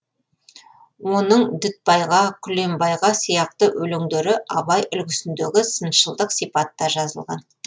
оның дүтбайға күлембайға сияқты өлеңдері абай үлгісіндегі сыншылдық сипатта жазылған